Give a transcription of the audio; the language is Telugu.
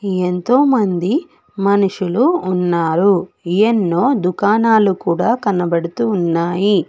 ఎంతో మంది మనుషులు ఉన్నారు ఎన్నో దుకాణాలు కూడ కనబడుతూ ఉన్నాయి.